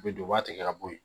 U bɛ don u b'a tigɛ ka bɔ yen